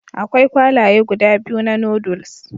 Akwai kwalaye guda biyu na Noodles